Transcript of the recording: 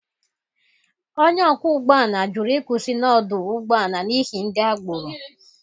Onye ọkwọ ụgbọ ala jụrụ ịkwụsị n'ọdụ ụgbọ ala n'ihi ndi agboro